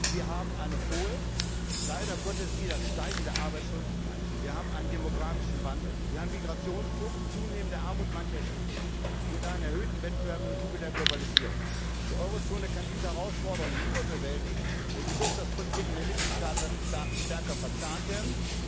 der EU. Wir haben eine hohe, leider Gottes wieder steigende Arbeitslosigkeit, wir haben einen demografischen Wandel, wir haben Migrationsdruck, zunehmende Armut mancher Schichten und einen erhöhten Wettbewerb im Zuge der Globalisierung. Die Eurozone kann diese Herausforderungen nur bewältigen, wenn die Wirtschaftspolitiken der Mitgliedstaaten stärker verzahnt